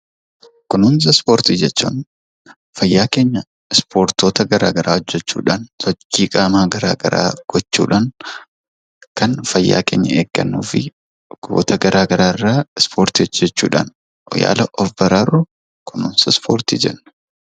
Kunuunsa ispoortii jechuun qaama keenya ispoortiiwwan garagraa hojjechuudhaan fayyaa keenya kan eeggannuu fi dhibeewwan adda adda irraa kan ittiin ofirraa ittisnu jechuudha.